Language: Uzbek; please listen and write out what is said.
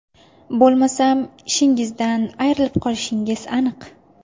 Bo‘lmasam ishingizdan ayrilib qolishingiz aniq.